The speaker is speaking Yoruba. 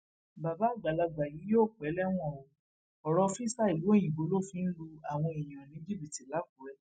bàbá àgbàlagbà yìí yóò pẹ lẹwọn o ọrọ físà ìlú òyìnbó ló fi ń lu àwọn èèyàn ní jìbìtì làkúrè